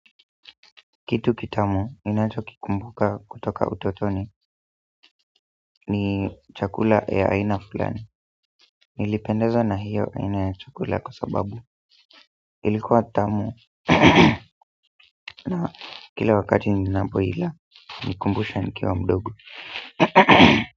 Kitu kitamu ninachikikumbuka kutoka utotoni ni chakula ya aina fulani. Nilipendezwa na hiyo aina ya chakula kwa sababu ilikuwa tamu na kila wakati ninapoila hunikumbusha nikiwa mdogo.